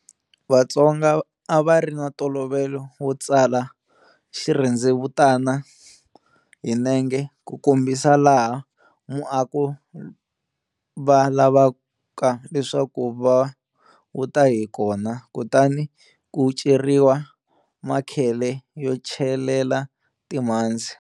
Vatsonga a va ri na ntolovelo wo tsala xirhendzevutana hi nenge ku kombisa laha muako va lavaka leswaku va wu ta hi kona, kutani ku ceriwa makhele yo celela timhandzi.